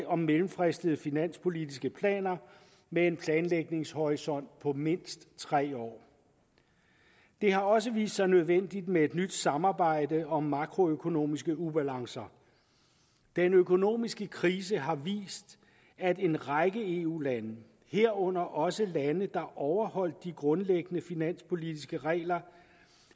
om mellemfristede finanspolitiske planer med en planlægningshorisont på mindst tre år det har også vist sig nødvendigt med et nyt samarbejde om makroøkonomiske ubalancer den økonomiske krise har vist at en række eu lande herunder også lande der overholdt de grundlæggende finansielle finanspolitiske regler